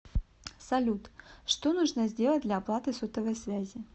салют что нужно сделать для оплаты сотовой связи